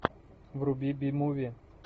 вруби би муви